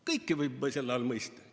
Kõike võib selle all mõista.